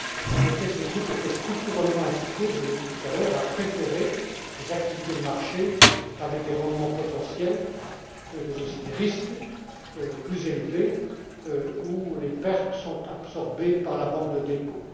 En effet, ces groupes étaient structurellement incités je l'ai dit tout à l'heure à préférer les activités de marché dont les rendements potentiels, mais aussi les risques sont plus élevés et où les pertes sont absorbées par la banque de dépôt.